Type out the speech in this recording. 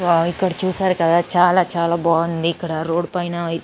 వాహ్ ఇక్కడ చూసారు కదా చాలా చాలా బాగుంది. ఇక్కడ రోడ్ పైన --